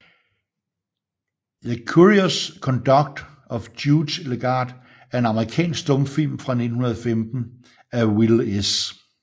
The Curious Conduct of Judge Legarde er en amerikansk stumfilm fra 1915 af Will S